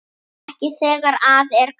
Ekki þegar að er gáð.